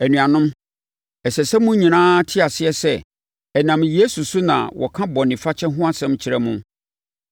“Anuanom, ɛsɛ sɛ mo nyinaa te aseɛ sɛ, ɛnam Yesu so na wɔka bɔne fakyɛ ho asɛm kyerɛ mo.